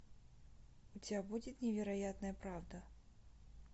у тебя будет невероятная правда